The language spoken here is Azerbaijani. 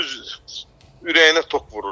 Düz ürəyinə tok vururdular.